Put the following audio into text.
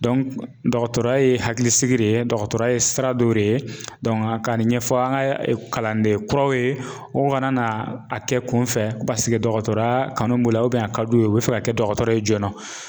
dɔgɔtɔrɔya ye hakilisigi de ye, dɔgɔtɔrɔya ye sira dɔ de ye ka nin ɲɛfɔ an ka kalanden kuraw ye, u kana na a kɛ kun fɛ paseke dɔgɔtɔrɔya kanu b'u la a ka d'u ye, u bɛ fɛ ka kɛ dɔgɔtɔrɔ ye joona